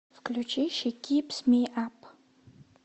включи ши кипс ми ап